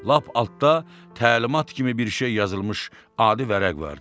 Lap altda təlimat kimi bir şey yazılmış adi vərəq vardı.